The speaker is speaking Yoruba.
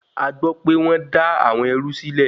Agbọ́pẹ́ wọ́n dá àwọn ẹrú sílẹ̀.